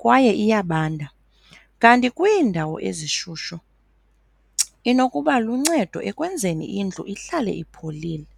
kwaye iyabanda, kanti kwiindawo ezishushu inokuba luncedo ekwenzeni indlu ihlale ipholile.